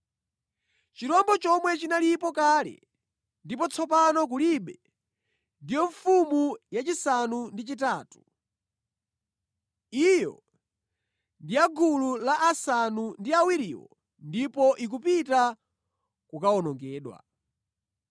Chirombo chomwe chinalipo kale ndipo tsopano kulibe ndiyo mfumu yachisanu ndi chitatu. Iyo ndi ya mʼgulu la asanu ndi awiriwo ndipo ikupita kukawonongedwa.